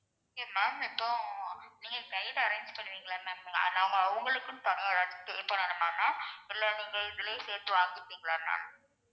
okay ma'am இப்போ நீங்க guide arrange பண்ணுவீங்கல்ல ma'am நாங்க அவங்களுக்குன்னு தனியா ஏதாச்சும் pay பண்ணணுமா ma'am இல்ல நீங்க இதுலயே சேர்த்து வாங்கிப்பீங்களா ma'am